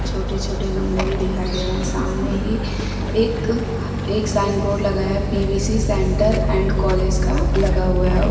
छोटे छोटे गमले भी दिखाई दे रहे सामने ही एक एक साइनबोर्ड लगा है पी_वी_सी सेंटर एंड कॉलेज का लगा हुआ है।